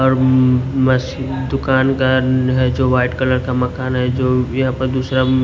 और उम्म मशीन दुकान का है जो वाइट कलर का मकान है जो यहां पर दूसरा म--